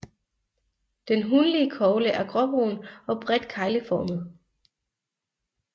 Den hunlige kogle er gråbrun og bredt kegleformet